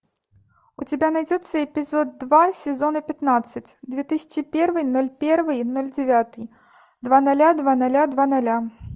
у тебя найдется эпизод два сезона пятнадцать две тысячи первый ноль первый ноль девятый два ноля два ноля два ноля